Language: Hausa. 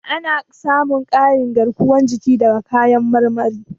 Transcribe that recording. Ana samun ƙarin garkuwar jiki daga kayan marmari.